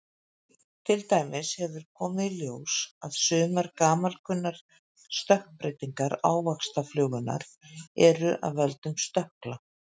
Til dæmis hefur komið í ljós að sumar gamalkunnar stökkbreytingar ávaxtaflugunnar eru af völdum stökkla.